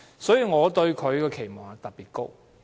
因此，我對她的期望特別高。